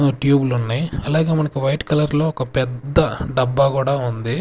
ట్యూబులు ఉన్నాయి అలాగే మనకు వైట్ కలర్ లో ఒక పెద్ద డబ్బా కూడా ఉంది.